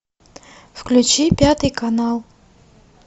включи пятый канал